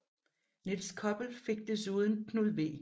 Nils Koppel fik desuden Knud V